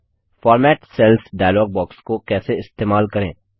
format cells dialog box को कैसे इस्तेमाल करें